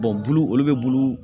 bulu olu bɛ bulu